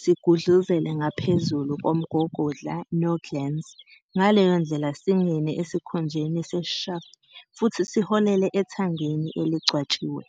sigudluzele ngaphezulu komgogodla noglans, ngaleyo ndlela singene esikhunjeni seshaft futhi siholele ethangeni elingcwatshiwe.